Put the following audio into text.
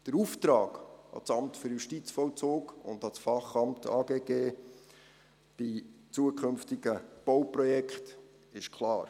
Der Auftrag an das Amt für Justizvollzug (AJV) und an das Fachamt, das Amt für Grundstücke und Gebäude des Kantons Bern (AGG), bei zukünftigen Bauprojekten ist klar.